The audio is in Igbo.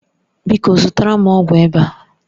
Biko zụtara m ọgwụ ịba